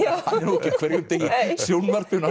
ekki á hverjum degi í sjónvarpinu